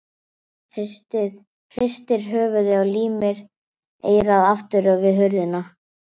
Hristir höfuðið og límir eyrað aftur við hurðina.